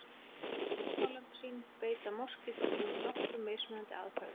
Til að finna fórnarlömb sín beita moskítóflugur nokkrum mismunandi aðferðum.